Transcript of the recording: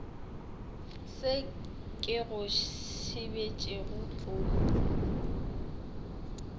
se ke go sebetšego o